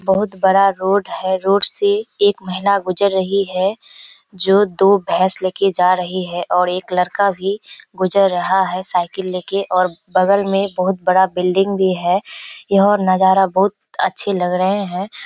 बहुत बड़ा रोड है। रोड से एक महिला गुजर रही है जो दो भैंस लेके जा रही है और एक लड़का भी गुजर रहा है साइकिल ले के और बगल में बहुत बड़ा बिल्डिंग भी है। यह नजारा बहुत अच्छे लग रहें हैं।